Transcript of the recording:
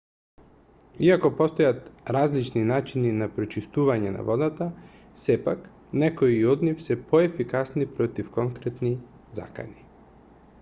иако постојат различни начини на прочистување на водата сепак некои од нив се поефикасни против конкретни закани